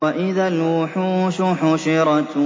وَإِذَا الْوُحُوشُ حُشِرَتْ